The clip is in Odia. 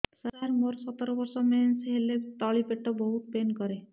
ସାର ମୋର ସତର ବର୍ଷ ମେନ୍ସେସ ହେଲେ ତଳି ପେଟ ବହୁତ ପେନ୍ କରେ